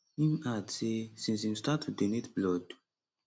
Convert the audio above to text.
im add say since im start to donate blood